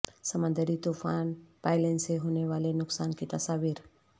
سمندری طوفان پائیلن سے ہونے والے نقصان کی تصاویر